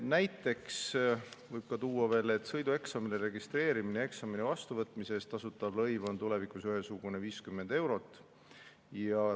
Näiteks võib tuua veel, et sõidueksamile registreerimise ja eksami vastuvõtmise eest tasutav lõiv on tulevikus ühesugune, 50 eurot.